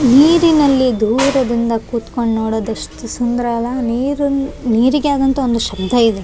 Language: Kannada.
ಬಿಳಿ ಬಣ್ಣದ ಟೀ ಶರ್ಟ್ ಮತ್ತು ಬೂದು ಬಣ್ಣದ ಪ್ಯಾಂಟನ್ನು ಧರಿಸಿದ್ದಾರೆ ತೆಲೆಗೆ ಕ್ಯಾಪ ಕೊಡು ಹಾಕಿದ್ದಾರೆ ಕನ್ನಡಕ ಹಾಕಿದ್ದಾರೆ .